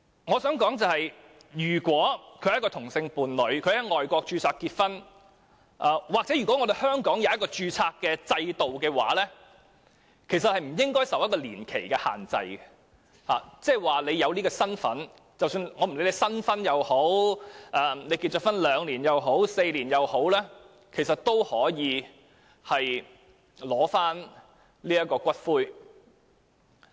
我想說，如果一對同性伴侶在外國註冊結婚，又或是香港有註冊制度讓他們結婚，其實他們不應該受到年期的限制，只要有這樣的身份，不管他們是新婚、已婚2年或4年，也應可取回骨灰。